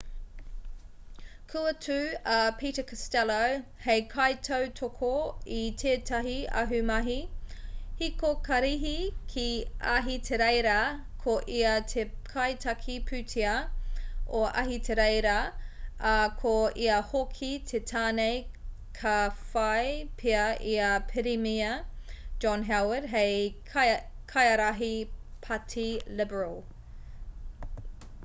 kua tū a peter costello hei kaitautoko i tētahi ahumahi hiko karihi ki ahitereiria ko ia te kaitiaki pūtea o ahitereiria ā ko ia hoki te tāne ka whai pea i a pirimia john howard hei kaiārahi pāti liberal